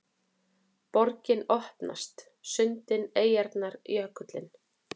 Borgin opnast: sundin, eyjarnar, jökullinn